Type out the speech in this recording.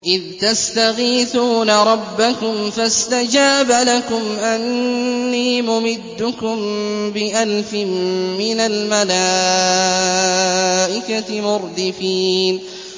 إِذْ تَسْتَغِيثُونَ رَبَّكُمْ فَاسْتَجَابَ لَكُمْ أَنِّي مُمِدُّكُم بِأَلْفٍ مِّنَ الْمَلَائِكَةِ مُرْدِفِينَ